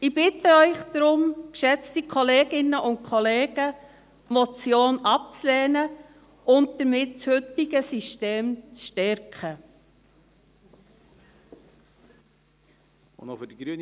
Deshalb bitte ich Sie, geschätzte Kolleginnen und Kollegen, diese Motion abzulehnen und damit das heutige System zu stärken.